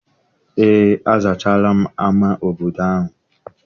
Eé, azachaala ama obodo ahụ.